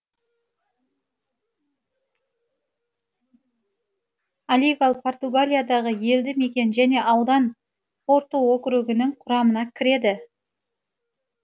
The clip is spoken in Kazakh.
оливал португалиядағы елді мекен және аудан порту округінің құрамына кіреді